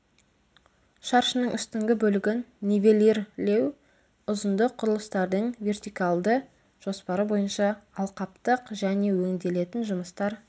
шаршының үстіңгі бөлігін нивелирлеу ұзындық құрылыстардың вертикалды жоспары бойынша алқаптық және өңделетін жұмыстар